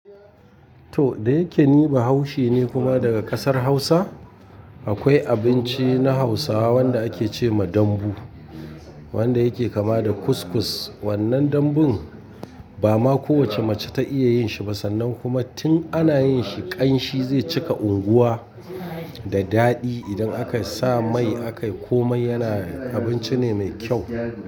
To dake niba haushe ne kuma daga kasar hausa. Akwai abinci na hausawa wanda ake ce ma dambu, wanda yake kama da kuskus. Wannan dambun ba ma kowace mace ta iya yin shi ba sannan kuma tun ana yin shi ƙanshi zai cika unguwa da daɗi idan aka sa mai a kai ko mai yana abinci ne me kyau.